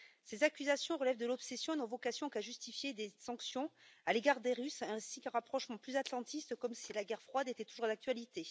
Ces accusations relèvent de l'obsession et n'ont vocation qu'à justifier des sanctions à l'égard des Russes ainsi qu'un rapprochement plus atlantiste, comme si la guerre froide était toujours d'actualité.